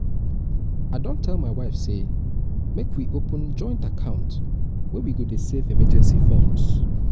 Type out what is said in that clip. i don tell my wife say make we open joint account wey we go dey save emergency funds